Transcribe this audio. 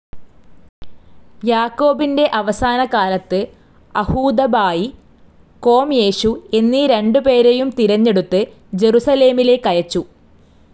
യാക്കോബിൻ്റെ അവസാനകാലത്ത് അഹൂദബായി, കൊംയേശു എന്നീ രണ്ട് പേരെയും തിരഞ്ഞെടുത്ത് ജെറുസലേമിലേക്കയച്ചു.